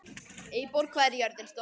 Eyborg, hvað er jörðin stór?